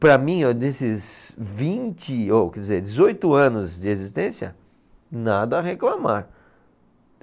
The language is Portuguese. Para mim ó, desses vinte, ou quer dizer, dezoito anos de existência, nada a reclamar.